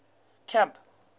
camp